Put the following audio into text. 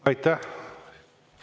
Aitäh!